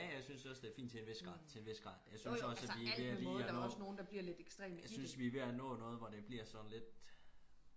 ja ja jeg synes også det er fint til en vis grad til en vis grad jeg synes også vi er ved at lige jeg synes vi er ved at være nået til noget hvor det er lidt